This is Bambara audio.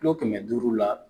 Kilo kɛmɛ duuru la